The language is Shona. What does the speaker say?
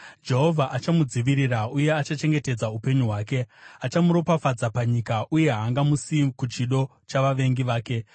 Jehovha achamudzivirira uye achachengetedza upenyu hwake; achamuropafadza panyika uye haangamuisi kuchido chavavengi vake.